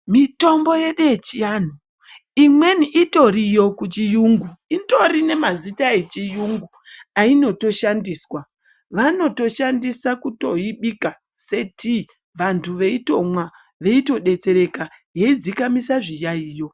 Mitombo yedu yechiantu, imweni itoriyo kuchiyungu. Itori nemazita echiyungu ainotoshandiswa. Vanotoshandisa kutoibika setii vantu veitomwa veitodetsereka yeidzikamisa zviyaiyo.